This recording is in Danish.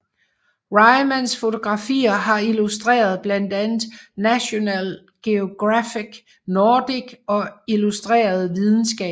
Rymans fotografier har illustreret blandt andet National Geographic Nordic og Illustreret Videnskab